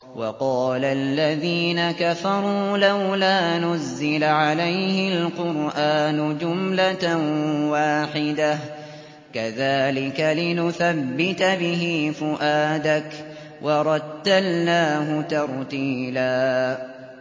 وَقَالَ الَّذِينَ كَفَرُوا لَوْلَا نُزِّلَ عَلَيْهِ الْقُرْآنُ جُمْلَةً وَاحِدَةً ۚ كَذَٰلِكَ لِنُثَبِّتَ بِهِ فُؤَادَكَ ۖ وَرَتَّلْنَاهُ تَرْتِيلًا